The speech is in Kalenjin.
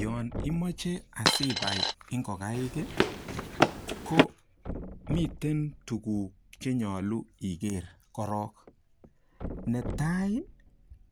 Yon imoche asibai ingokaik ko miten tukuk chenyolu iker korok netai